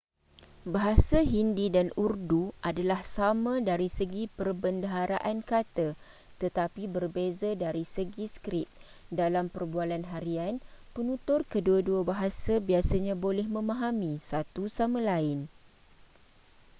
bahasa hindi dan urdu adalah sama dari segi perbendaharaan kata tetapi berbeza dari segi skrip dalam perbualan harian penutur kedua-dua bahasa biasanya boleh memahami satu sama lain